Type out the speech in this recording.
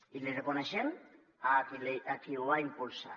i l’hi reconeixem a qui ho va impulsar